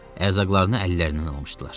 Ərzaqlarını əllərindən almışdılar.